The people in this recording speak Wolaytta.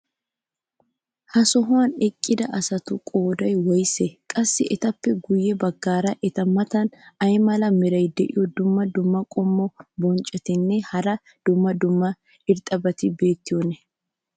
ha sohuwan eqqida asatussi qooday woysee? qassi etappe guye bagaara eta matan ay mala meray diyo dumma dumma qommo bonccotinne hara dumma dumma irxxabati beetiyoonaa?